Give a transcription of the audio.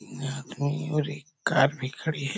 एक आदमी और एक भी खड़ी है ।